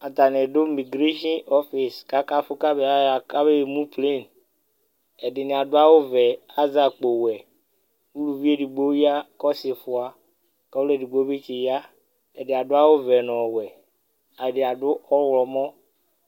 Atani dʋ migration office kakafu kabeemu planeƐdini aɖʋ awu vɛ kazɛ akpo wɛUluvi edigbo ya , kʋ ɔsifuaKʋ ɔlu edigbo bi tsi yaƐdi aɖʋ awu vɛ nu ɔwɛ Ɛdi adʋ ɔɣlɔmɔ